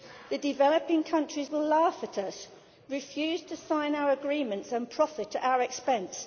The developing countries will laugh at us, refuse to sign our agreements and profit at our expense.